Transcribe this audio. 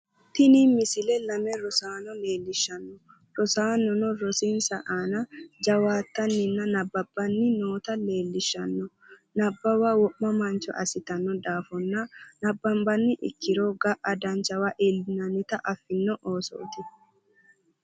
Tini misile lame rosaano leellishshanno rosaanono rosinsa aana jawaattanninna nabbabbanni noota leellishshanno nabbawa wo'ma mancho assitanno daafonna nabbanbanni ikkiro ga'a danchawa iillinannita affino oosooti